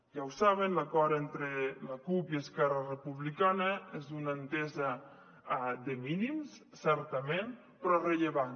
ja ho saben l’acord entre la cup i esquerra republicana és una entesa de mínims certament però rellevant